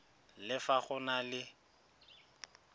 le fa go na le